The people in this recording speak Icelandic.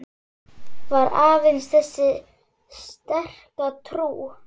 Var aðeins þessi sterka trú